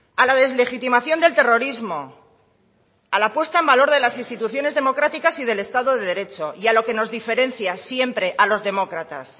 a la deslegitimación del terrorismo a la puesta en valor de las instituciones democráticas y del estado de derecho y a lo que nos diferencia siempre a los demócratas